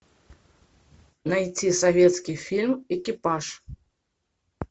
найти советский фильм экипаж